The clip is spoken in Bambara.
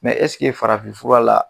Mɛ ɛseke farafinfura la